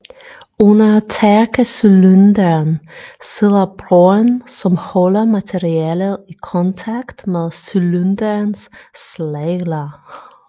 Under tærkecylinderen sidder broen som holder materialet i kontakt med cylinderens slagler